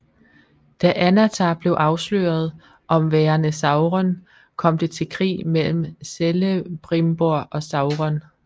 Da Annatar blev afsløret om værende Sauron kom det til krig mellem Celebrimbor og Sauron